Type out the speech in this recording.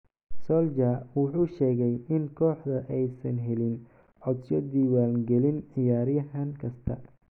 Solskjaer wuxuu sheegay in kooxda aysan helin codsiyo diiwaangelin ciyaaryahan kasta.